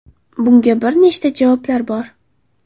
Bunga bir nechta javoblar bor.